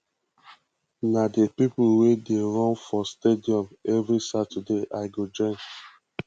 na di pipo we dey run for stadium every saturday i go join